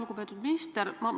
Lugupeetud minister!